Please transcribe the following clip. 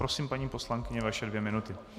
Prosím, paní poslankyně, vaše dvě minuty.